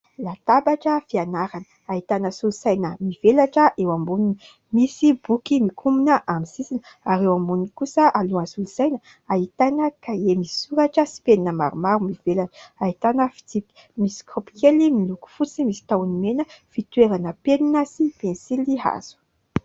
Latabatra fianarana, ahitana solosaina mivelatra eo amboniny. Misy boky mikombona amin'ny sisiny, ary eo amboniny kosa alohan'ny solosaina, ahitana kahie misy soratra sy penina maromaro, mivelatra ; ahitana fitsipika. Misy kopy kely miloko fotsy, misy tahony mena, fitoerana penina sy pensily hazo.